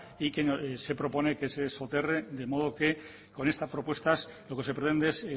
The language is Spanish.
olabeaga y que se propone que se soterré de modo que con estas propuestas lo que se pretende